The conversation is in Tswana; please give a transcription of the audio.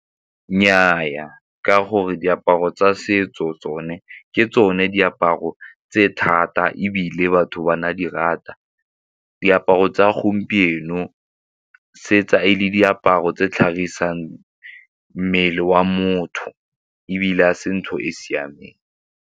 Nnyaa, ka gore diaparo tsa setso tsone ke tsone diaparo tse thata ebile batho ba na di rata. Diaparo tsa gompieno se tsa e le diaparo tse tlhagisang mmele wa motho ebile ga se ntho e siameng.